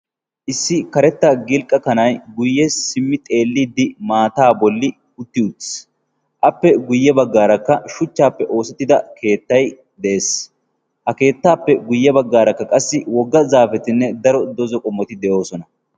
Issi karetta gilqqa kanay guyye simmi xeelliddi maataa bolli utti utis appe guyye baggaarakka shuchchaappe oosettida keettay de'ees. ha keettaappe guyye baggaarakka qassi wogga zaapetinne daro doza qommoti de'oosona.